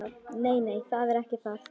Nei, nei, það er ekki það.